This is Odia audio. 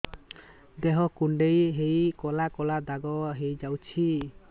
ଦେହ କୁଣ୍ଡେଇ ହେଇ କଳା କଳା ଦାଗ ହେଇଯାଉଛି